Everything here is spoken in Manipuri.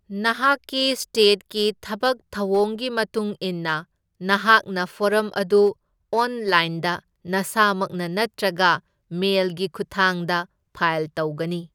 ꯅꯍꯥꯛꯀꯤ ꯁ꯭ꯇꯦꯠꯀꯤ ꯊꯕꯛ ꯊꯧꯑꯣꯡꯒꯤ ꯃꯇꯨꯡ ꯏꯟꯅ, ꯅꯍꯥꯛꯅ ꯐꯣꯔꯝ ꯑꯗꯨ ꯑꯣꯟꯂꯥꯏꯟꯗ ꯅꯁꯥꯃꯛꯅ ꯅꯠꯇ꯭ꯔꯒ ꯃꯦꯜꯒꯤ ꯈꯨꯠꯊꯥꯡꯗ ꯐꯥꯏꯜ ꯇꯧꯒꯅꯤ꯫